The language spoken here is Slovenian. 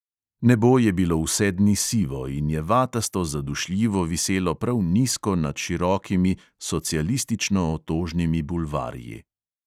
Nebo je bilo vse dni sivo in je vatasto zadušljivo viselo prav nizko nad širokimi socialistično otožnimi bulvarji.